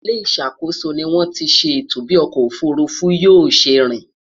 ilé ìṣàkóso ní wón tí ṣe ètò bi ọkọ òfurufú yóò ṣé rìn